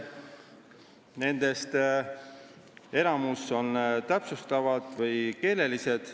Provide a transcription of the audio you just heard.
Nendest enamik on täpsustavad või keelelised.